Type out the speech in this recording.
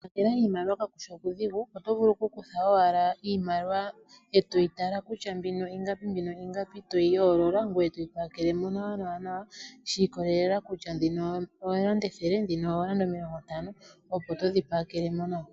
Okupakela iimaliwa kakushi okudhigu otovulu oku kutha owala iimaliwa etoyi tala kutya mbino ingapi mbino ingapi toyi yoolola ngoye toyi pakele nawa shi ikolelela kutya dhino oolanda ethele ndhino oolanda omilongontano opo todhi pakele nawa.